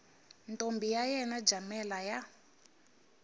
ntombi ya yena jamela ya